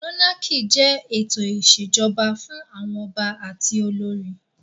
Mónákì jẹ́ ètò ìṣèjọba fún àwọn ọba àti olórí